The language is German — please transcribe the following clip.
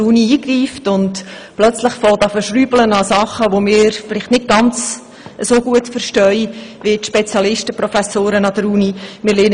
Wir sollten nicht anfangen, plötzlich an Dingen zu «schrüble», von denen wir wohl nicht so viel verstehen wie die Spezialisten und Professoren an der Universität.